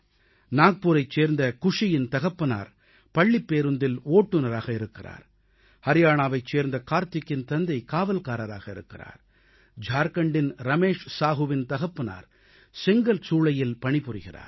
நாக்பூரைச் சேர்ந்த குஷியின் தகப்பனார் பள்ளிப் பேருந்தில் ஓட்டுநராக இருக்கிறார் அரியானாவைச் சேர்ந்த கார்த்திக்கின் தந்தை காவல்காரராக இருக்கிறார் ஜார்க்கண்டின் ரமேஷ் சாஹூவின் தகப்பனார் செங்கல் சூளையில் பணிபுரிகிறார்